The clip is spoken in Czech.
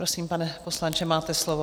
Prosím, pane poslanče, máte slovo.